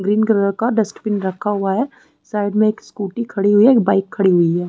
Green colour का dustbin रखा हुआ है साइड में एक स्कूटी खड़ी हुई है एक बाइक खड़ी हुई है।